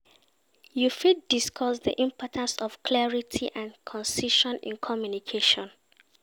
You fit discuss di importance of clarity and concision in communication.